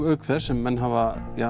auk þess sem menn hafa